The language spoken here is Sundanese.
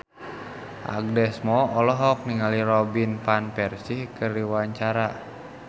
Agnes Mo olohok ningali Robin Van Persie keur diwawancara